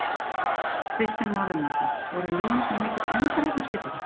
Kristján Már Unnarsson: Voru línurnar mikið skemmdar hérna í sveitinni?